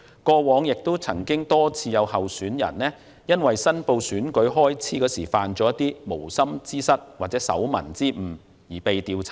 過往多次有候選人因為申報選舉開支時犯無心之失或手民之誤而被調查。